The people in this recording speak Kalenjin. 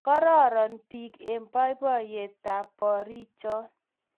Kororon beek eng boiboiyetab borik cho